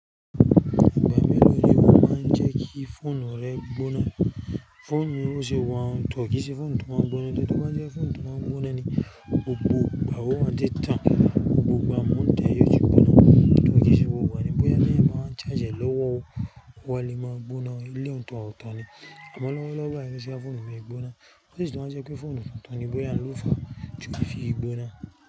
Ìgbà mélòó ni o máa ń jẹ́ kí fóònù rẹ gbóná? Fóònù mi ò ṣe wa un, tọ́ọ̀kì sí fóònù tó máa ń gbóná. Ẹni tó bá jẹ́ fóònù tó máa ń gbóná ni, gbogbo gbà ọ̀ wa ń ti tán, gbogbo gba mó ǹte yio ti gbóná. Tọ́ọ̀ kì se gbogbo igba ni bóyá teyan bá wa ń charge lọ́wọ́, ó wa lè máa gbóná, ilé òǹtọ̀ ó tọn ni. Àmọ́ lọ́wọ́lọ́wọ́ báyìí ti ṣe kí fóònù mi gbóná, ó sì tún máa ń jẹ́ pé fóònù tuntun ńi bóyá ló fa tí kò fi gbóná.